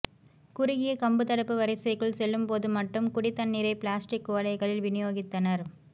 குறுகிய கம்புத்தடுப்பு வரிசைக்குள் செல்லும் போது மட்டும் குடி தண்ணீரைப் பிளாஸ்டிக் குவளைகளில் விநியோகித்தனர்